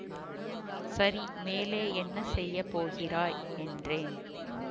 சரி மேலே என்ன செய்ய போகிறாய் என்றேன்